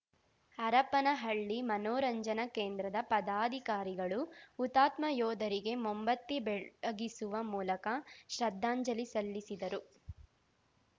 ಹರಪನಹಳ್ಳಿ ಮನೋರಂಜನಾ ಕೇಂದ್ರದ ಪದಾಧಿಕಾರಿಗಳು ಹುತಾತ್ಮ ಯೋಧರಿಗೆ ಮೊಂಬತ್ತಿ ಬೆಳಗಿಸುವ ಮೂಲಕ ಶ್ರದ್ಧಾಂಜಲಿ ಸಲ್ಲಿಸಿದರು